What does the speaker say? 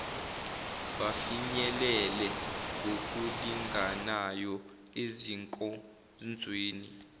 bafinyelele ngokulinganayo ezinkonzweni